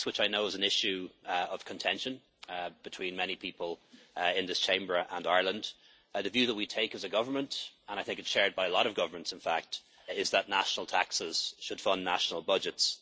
On tax, which I know is an issue of contention between many people in this Chamber and in Ireland, the view that we take as a government and I think it is shared by a lot of governments is that national taxes should fund national budgets.